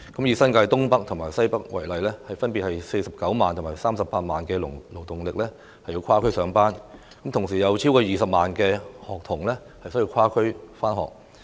以新界東北和新界西北為例，分別有49萬和38萬名"打工仔"需跨區上班，並有超過20萬名學童需跨區上學。